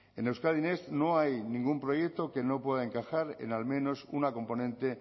en euskadi next no hay ningún proyecto que no pueda encajar en al menos una componente